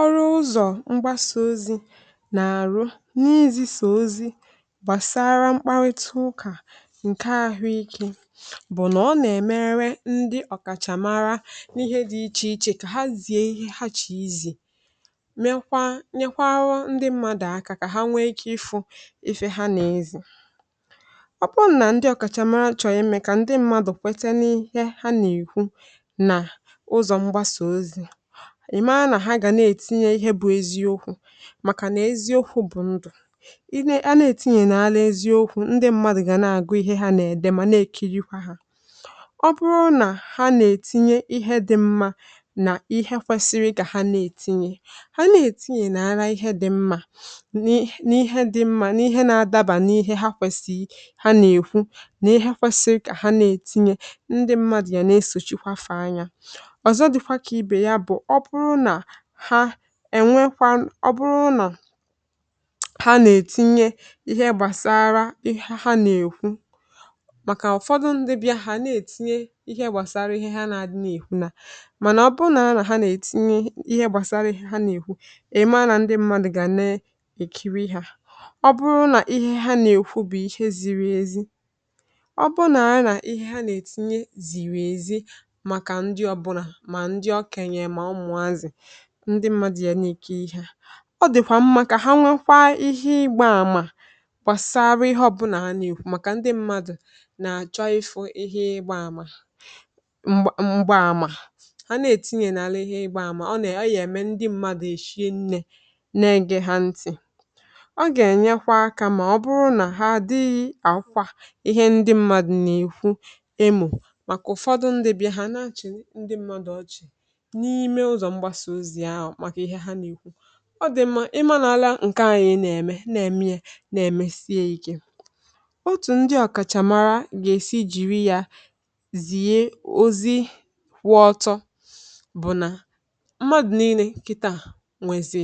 ọrụ ụzọ̀ mgbasa ozi nà-àrụ n’ihì̇zì̇ sà ozi gbàsara mkparịta ụkà ǹke àhụike bụ̀ nà ọ nà-èmerwe ndị ọ̀kàchàmara n’ihe dị̇ ichè ichè kà ha zi̇i̇ ihe ha chèe izì, mekwa nyekwara ndị mmadụ̀ aka kà ha nwee ike ifu ife ha nà-ezì. ọ bụ̀nà ndị ọ̀kàchàmara nà-èchọ imè kà ndị mmadù kwete n’ihe ha nèkwu, ìmȧ nà hà gà na-ètinye ihe bụ̇ eziokwu̇, màkà nà eziokwu̇ bụ̀ ndụ̀ i ne. ha na-ètinye n’ala eziokwu̇ ndị mmadụ̀ gà na-àgụ ihe hȧ nà-èdè mà na-èkirikwa hȧ. ọ bụrụ nà hȧ nà-ètinye ihe dị̇ mmȧ nà ihe kwẹ̇sịrị, gà hȧ na-ètinye ha n’ara ihe dị̇ mmȧ nị, nị ihe dị̇ mmȧ nị ihe na-adabà nị i̇hẹ ha kwẹ̀sịrị. hȧ nà-èkwu nị ihe kwẹ̀sịrị kà ha na-ètinye, um ndị mmadụ̀ gà na-esòchikwafe anyȧ. ha ènwekwa ọ bụrụ nà ha nà-ètinye ihe gbàsara ihe ha nà-èkwu, màkà ụ̀fọdụ ndị bịahụ̀, ha na-ètinye ihe gbàsara ihe ha na-adị nà-èkwu. nà mànà ọ bụrụ nà ara nà ha nà-ètinye ihe gbàsara ihe ha nà-èkwu, ị̀ maa nà ndị mmadụ̀ gà na-èkiri ha, ọ bụrụ nà ihe ha nà-èkwu bụ̀ ihe ziri ezi. ọ bụrụ nà ara nà ihe ha nà-ètinye zìrì èzi, màkà ndị ọbụrụ na ndị mmadụ̀ yà n’ike ihe a, ọ dị̀kwà mma kà ha nwekwaa ihe ịgbȧ àmà kwàsari ihe ọbụnà ha nwekwaa. màkà ndị mmadụ̀ na-achọ ifu ihe ịgbȧ àmà, mgbȧ àmà ha na-etinye n’ala ihe ịgbȧ àmà ọ na-eme, ndị mmadụ̀ èshie nne na-ege ha ntị̀. ọ gà-ènyekwa akȧ, mà ọ bụrụ nà ha dịyị àkwa ihe ndị mmadụ̀ nà-èkwu, ịmụ̇ mà kụ̀ ụfọdụ ndị bịà ha na-achị̀ ndị mmadụ̀ ọchị̀, ọ gà-ènyere hȧ nà ikwu̇. ọ dị̀ mma ị marala ǹke anyị̇ nà-ème, nà-ème yȧ nà-èmèsi yȧ ike. um otù ndị ọ̀kàchàmara gà-èsi jìri yȧ zìye ozi wụ̇ ọtọ bụ̀ nà mmadụ̀ nii̇nė kịta à nwèzì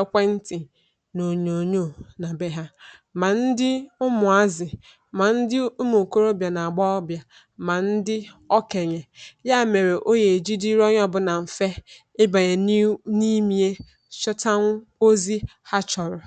ekwentị̀ nà ònyònyò nà be hȧ, mà ndị ụmụ̀azị̀, mà ndị ụmụ̀kọrọbịà nà-àgba ọbịà, mà ndị ọkènyè. ya mèrè o yà-èji dịrị ọbụ̇nà mfe chọtȧnwụ̇ ozi ha chọ̀rọ̀.